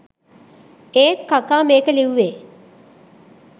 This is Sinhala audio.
ඒත් කකා මේක ලිව්වෙ